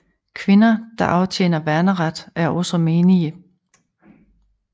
Kvinder der aftjener værneret er også menige